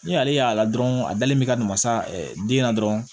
Ni ale y'a la dɔrɔn a dalen bɛ ka na masa den na dɔrɔn